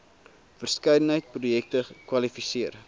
verskeidenheid projekte kwalifiseer